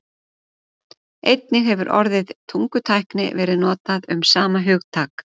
Einnig hefur orðið tungutækni verið notað um sama hugtak.